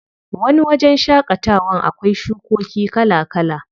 Wani wajen shaƙatawan akwai shukoki kala kala.